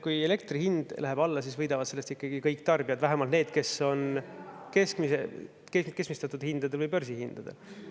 Kui elektri hind läheb alla, siis võidavad sellest ikkagi kõik tarbijad, vähemalt need, kes on keskmistatud hindade või börsihindadega.